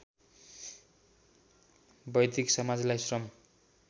वैदिक समाजलाई श्रम